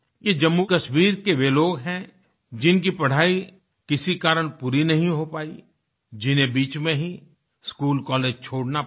ये जम्मूकश्मीर के वे लोग हैं जिनकी पढाई किसी कारण पूरी नहीं हो पाई जिन्हें बीच में ही स्कूलकॉलेज छोड़ना पड़ा